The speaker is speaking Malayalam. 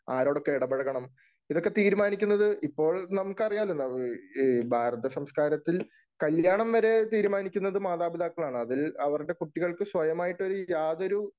ആരോടൊക്കെ എടപഴകണം ഇതൊക്കെ തീരുമാനിക്കുന്നത് ഇപ്പോൾ നമുക്കറിയാലോ? ഈ ഭാരത സംസ്‌കാരത്തിൽ കല്യാണം വരെ തീരുമാനിക്കുന്നത് മാതാപിതാക്കളാണ്. അതിൽ അവരുടെ കുട്ടികൾക്ക് സ്വയമായിട്ടൊരു യാതൊരു